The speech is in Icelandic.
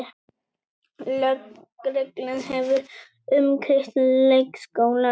Lögreglan hefur umkringt leikskólann